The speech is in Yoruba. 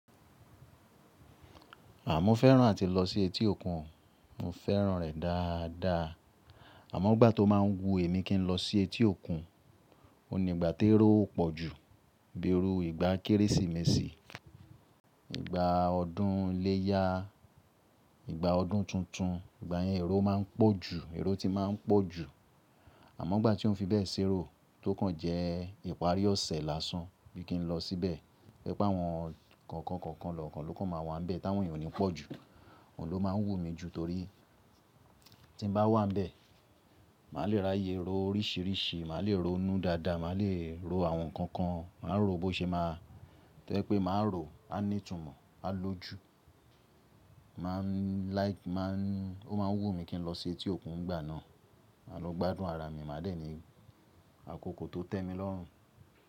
Àmọ́ fẹ́ràn àti lọ sí etí òkun, mo fẹ́ràn rẹ̀ dáadáa. Àmọ́ ọgbà tó máa ń wu èmi kí n lọ sí etí òkun, òun ni ìgbà tí ẹró ó pọ̀ jù, bí erú ìgbà Kérésìmesì, ìgbà ọdún iléyá, ìgbà ọdún tuntun, ìgbà yẹn ẹró máa ń pọ̀ jù, ẹró ti máa ń pọ̀ jù. Àmọ́ igbà tí ó fi bẹ́ẹ̀ ṣerò tókàn jẹ́ ìparí ọ̀sẹ̀ lásán bí kí n lọ síbẹ̀, rí pé àwọn kọ̀ọ̀kan kọ̀ọ̀kan lọ́kàn ló máa wà níbẹ̀ táwọn ènìyàn ò ní pọ̀ jù, òun ló máa ń wù mí jù torí tí n bá wà níbẹ̀, màá le ra iyẹ ẹró oríṣìíríṣìí, màá le ro inú dada, màá le ro àwọn nǹkan kan, màá rò ó bó ṣe máa tó ẹ pé màá rò ó, á ní ìtumọ̀, á lọ́ju, máa ń like, máa ń ní, ó máa ń wù mí kí n lọ sí etí òkun ìgbà náà. Màá lọ gbádùn ara mi, màá dènì àkókò tó tẹ́mi lọ́rùn.